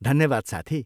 धन्यवाद साथी।